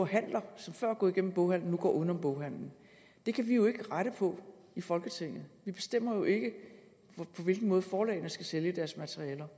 handler som før er gået igennem boghandlerne nu går uden om boghandlerne det kan vi jo ikke rette på i folketinget vi bestemmer jo ikke på hvilken måde forlagene skal sælge deres materialer